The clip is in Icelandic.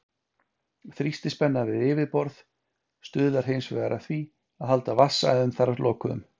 Þrýstispenna við yfirborð stuðlar hins vegar að því að halda vatnsæðum þar lokuðum.